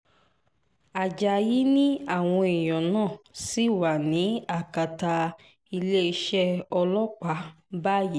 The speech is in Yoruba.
ajáyí ni àwọn èèyàn náà ṣì wà ní akátá iléeṣẹ́ ọlọ́pàá báyìíì